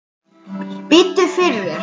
Biddu fyrir þér!